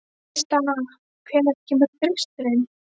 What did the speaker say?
Tristana, hvenær kemur þristurinn?